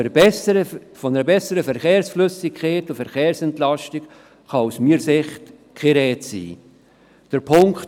Von einer besseren Verkehrsflüssigkeit und einer Verkehrsentlastung kann aus meiner Sicht keine Rede sein.